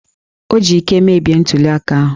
O ji íké mebie ntuli aka ahụ!